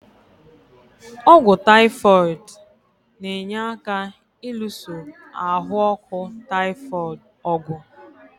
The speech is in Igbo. Ọ́gwụ́ taịfoid na-enye aka ịlụso ahụ ọkụ taịfoid ọ̀gwụ̀.